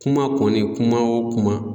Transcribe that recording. Kuma kɔni kuma o kuma